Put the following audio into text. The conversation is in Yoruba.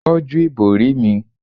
tọju ibori mi